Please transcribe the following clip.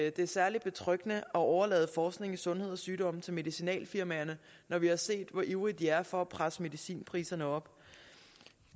at det er særlig betryggende at overlade forskning i sundhed og sygdom til medicinalfirmaerne når vi har set hvor ivrige de er for at presse medicinpriserne op